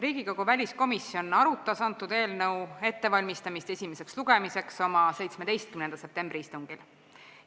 Riigikogu väliskomisjon arutas eelnõu ettevalmistamist esimeseks lugemiseks oma 17. septembri istungil.